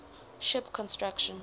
ship construction